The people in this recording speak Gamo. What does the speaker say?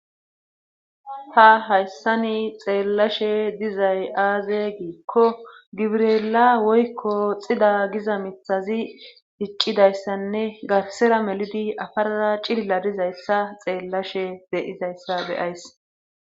ta hayssani xeellashe dizay aaze giikko gibrela woykko xida giza mithazi hiccidayssanne garsera melidi afarara cilla dizayssa xeellashe deyizayssa beyays